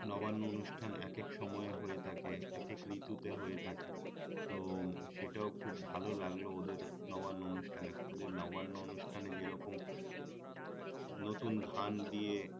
নবান্ন অনুষ্ঠান একেক সময়ে হয়ে থাকে একেক ঋতুতে হয়ে থাকে তো সেটাও খুব ভাল লাগে ওদের নবান্ন অনুষ্ঠানে ওদের নবান্ন অনুষ্ঠানে যেরকম নতুন ধান দিয়ে